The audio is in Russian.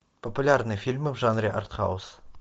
популярные фильмы в жанре артхаус